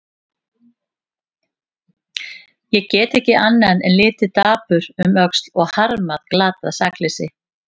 Ég get ekki annað en litið dapur um öxl og harmað glatað sakleysi.